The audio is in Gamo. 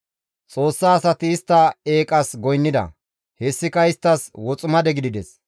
Xoossa asati istta eeqas goynnida; hessika isttas woximade gidides.